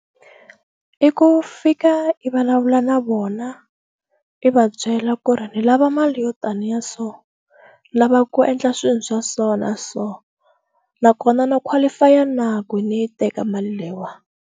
I ku fika i vulavula na vona i va byela ku ri ni lava mali yo taniyaso lava ku endla swilo swa so na so nakona na qualify ya na ku ni yi teka mali leyiwa.